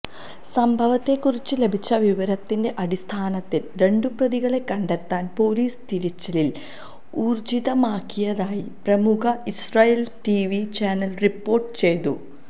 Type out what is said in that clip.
സംഭവത്തെക്കുറിച്ച് ലഭിച്ച വിവരത്തിന്റെ അടിസ്ഥാനത്തില് രണ്ടുപ്രതികളെ കണ്ടെത്താന് പോലിസ് തിരച്ചില് ഊര്ജിതമാക്കിയതായി പ്രമുഖ ഇസ്രായേലി ടിവി ചാനല് റിപോര്ട്ട് ചെയ്തു